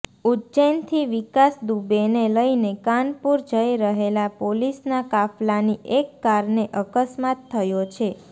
ઉજ્જૈનથી વિકાસ દુબેને લઈને કાનપુર જઈ રહેલા પોલીસના કાફલાની એક કારને અકસ્માત થયો છે